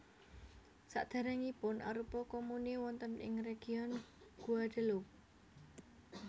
Sadèrèngipun arupa komune wonten ing region Guadeloupe